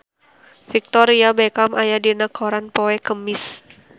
Victoria Beckham aya dina koran poe Kemis